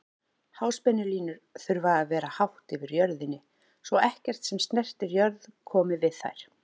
Háspennulínur þurfa að vera hátt yfir jörðinni svo ekkert sem snertir jörð komi við þær.